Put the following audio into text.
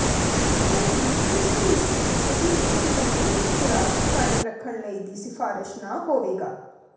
ਕੋਈ ਨਿਉਟਰੀਸ਼ਨਿਸਟ ਅਜਿਹੇ ਇੱਕ ਤੰਦਰੁਸਤ ਖੁਰਾਕ ਕਾਇਮ ਰੱਖਣ ਲਈ ਦੀ ਸਿਫਾਰਸ਼ ਨਾ ਹੋਵੇਗਾ